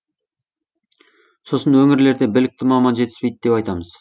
сосын өңірлерде білікті маман жетіспейді деп айтамыз